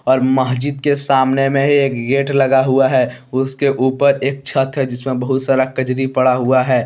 और महजिद के सामने में ही एक गेट लगा हुआ है उसके ऊपर एक छत है जिसमें बहुत सारा कजरी पड़ा हुआ है।